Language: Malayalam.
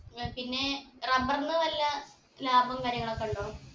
ഏർ പിന്നേ rubber ന് വല്ല ലാഭം കാര്യങ്ങളൊക്കെ ഉണ്ടോ